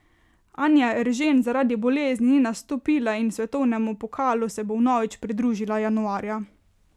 Anja Eržen zaradi bolezni ni nastopila in svetovnemu pokalu se bo vnovič pridružila januarja.